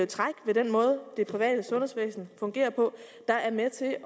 træk ved den måde det private sundhedsvæsen fungerer på der er med til at